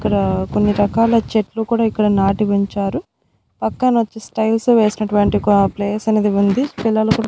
ఇక్కడ కొన్ని రకాల చెట్లు కూడా ఇక్కడ నాటి ఉంచారు పక్కన వచ్చేసి టైల్స్ వేసినటువంటి ఒక ప్లేస్ అనేది ఉంది పిల్లలు కూడా.